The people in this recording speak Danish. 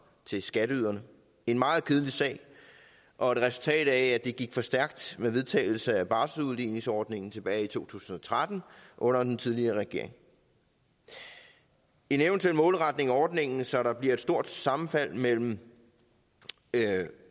til skatteyderne en meget kedelig sag og et resultat af at det gik for stærkt med vedtagelsen af barselsudligningsordningen tilbage i to tusind og tretten under den tidligere regering en eventuel målretning af ordningen så der bliver et så stort sammenfald mellem